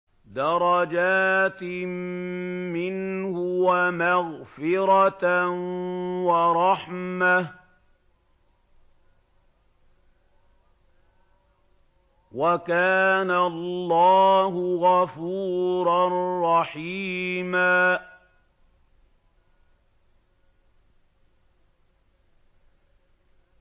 دَرَجَاتٍ مِّنْهُ وَمَغْفِرَةً وَرَحْمَةً ۚ وَكَانَ اللَّهُ غَفُورًا رَّحِيمًا